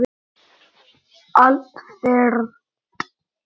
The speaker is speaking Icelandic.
Allt fyrnt.